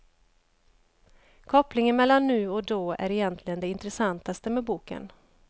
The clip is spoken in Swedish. Kopplingen mellan nu och då är egentligen det intressantaste med boken.